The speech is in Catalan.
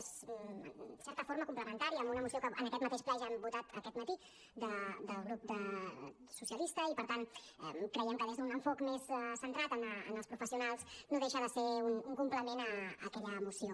és en certa forma complementària a una moció que en aquest mateix ple ja hem votat aquest matí del grup socialista i per tant creiem que des d’un enfocament més centrat en els professionals no deixa de ser un complement a aquella moció